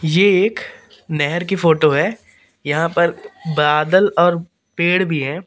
ये एक नेहर की फोटो है यहां पर बादल और पेड़ भी है।